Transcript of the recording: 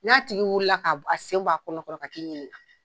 N'a tigi wulila k'a a sen bɔ a kɔnɔ kɔrɔ ka t'i ɲininka